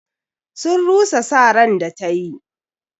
Sun rusa sa ran da ta yi.